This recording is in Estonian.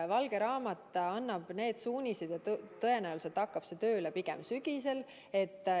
Valge raamat annab need suunised ja tõenäoliselt hakkab see tööle pigem sügisel.